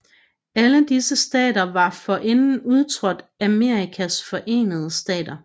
Alle disse stater var forinden udtrådt af Amerikas Forenede Stater